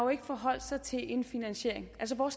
forholdt sig til en finansiering altså hvor